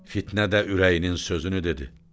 Fitnə də ürəyinin sözünü dedi: